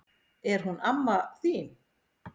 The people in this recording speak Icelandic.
Er hún amma þín?